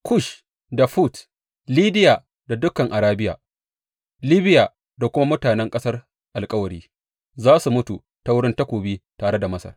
Kush da Fut, Lidiya da dukan Arabiya, Libiya da kuma mutanen ƙasar alkawari za su mutu ta wurin takobi tare da Masar.